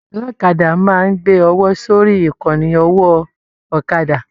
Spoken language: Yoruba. Ọlọ́kadà máa n gbé ọwọ sórí ìkànnì ọwọ ọ̀kàdà